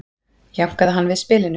jánkaði hann við spilinu